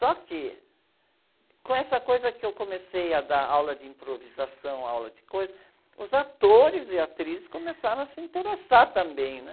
Só que, com essa coisa que eu comecei a dar, aula de improvisação, aula de coisas, os atores e atrizes começaram a se interessar também, né?